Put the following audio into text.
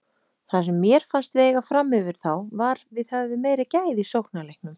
Það sem mér fannst við eiga framyfir þá var við höfðum meiri gæði í sóknarleiknum.